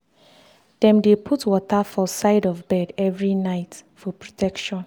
dem dey put water for side of bed every night for protection.